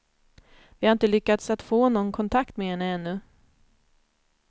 Vi har inte lyckats att få någon kontakt med henne ännu.